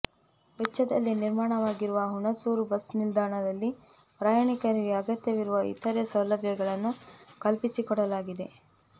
ವೆಚ್ಚದಲ್ಲಿ ನಿರ್ಮಾಣವಾಗಿರುವ ಹುಣಸೂರು ಬಸ್ ನಿಲ್ದಾಣದಲ್ಲಿ ಪ್ರಯಾಣಿಕರಿಗೆ ಅಗತ್ಯವಿರುವ ಇತರೆ ಸೌಲಭ್ಯಗಳನ್ನು ಕಲ್ಪಿಸಿಕೊಡಲಾಗಿದೆ